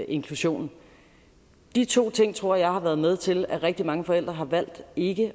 inklusionen de to ting tror jeg har været med til at rigtig mange forældre har valgt ikke